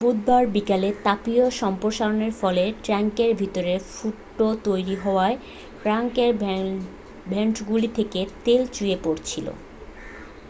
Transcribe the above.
বুধবার বিকেলে তাপীয় সম্প্রসারণর ফলে ট্যাঙ্কের ভিতরে ফুটো তৈরি হওয়ায় ট্যাঙ্কের ভেন্টগুলি থেকে তেল চুইয়ে পড়ছিল